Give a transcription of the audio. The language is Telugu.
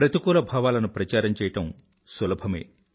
ప్రతికూల భావాలను ప్రచారం చేయడం సులభమే